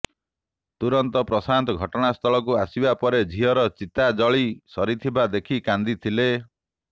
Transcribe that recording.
ତୁରନ୍ତ ପ୍ରଶାନ୍ତ ଘଟଣାସ୍ଥଳକୁ ଆସିବା ପରେ ଝିଅର ଚିତା ଜଳି ସାରିଥିବା ଦେଖି କାନ୍ଦିଥିଲେ